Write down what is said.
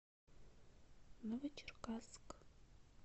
новочеркасск